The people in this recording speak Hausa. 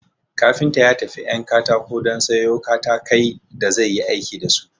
Kafinta ya tafi 'yan katako don sayo katakai da zai yi aiki dasu